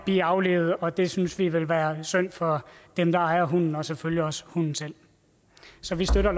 blive aflivet og det synes vi vil være synd for dem der ejer hunden og selvfølgelig også hunden selv så vi støtter